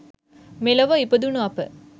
මෙලොව ඉපදුණු අප